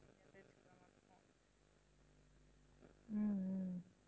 ஹம் ஹம்